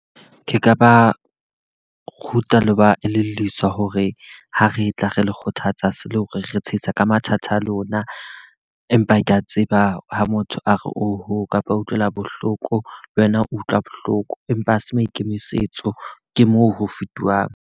Ke ka ba ruta le ho ba elelliswa hore ha re tla re le kgothatsa se le hore re tsheisa ka mathata a lona. Empa ke a tseba ha motho a re o ho kapa utlwela bohloko, le wena o utlwa bohloko. Empa ha se maikemisetso, ke moo ho fetuhang.